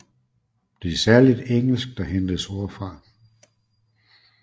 Det er særlig engelsk der hentes ord fra